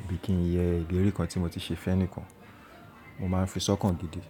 àbí kí ń yẹ ìlérí kan tí mo ti ṣe fẹ́nikan, mo máa ń fi sọ́kàn gidi.